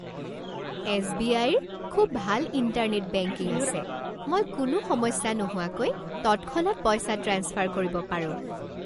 এছ.বি.আই.ৰ খুব ভাল internet banking আছে। মই কোনো সমস্যা নোহোৱাকৈ তৎক্ষণাত পইচা ট্ৰেন্সফাৰ কৰিব পাৰোঁ।